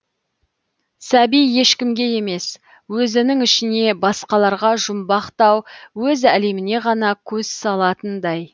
сәби ешкімге емес өзінің ішіне басқаларға жұмбақтау өз әлеміне ғана көз салатындай